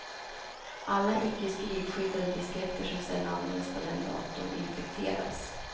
Alla icke skrivskyddade disketter som sedan används på den datorn infekteras.